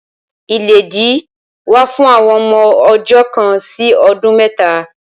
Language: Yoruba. Ìlédìí wà fún àwọn ọmọ ọjọ́ kan sí ọdún mẹ́ta.